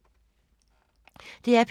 DR P3